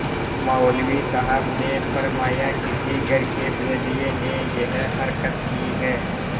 मौलवी साहब ने फरमाया किसी घर के भेदिये ने यह हरकत की है